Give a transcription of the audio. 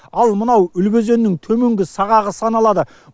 ал мынау үлбі өзенінің төменгі сағағы саналады